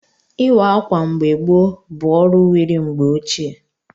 Ịkwa ákwà mgbe gboo bụ ọrụ wiri mgbe ochie.